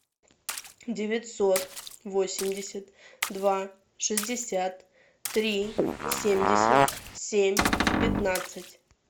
девятьсот восемьдесят два шестьдесят три семьдесят семь пятнадцать